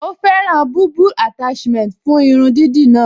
Ó fẹ́ràn bulbul attachment fún irun dídì náà